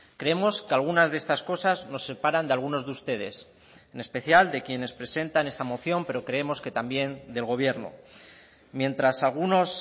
creemos que algunas de estas cosas nos separan de algunos de ustedes en especial de quienes presentan esta moción pero creemos que también del gobierno mientras algunos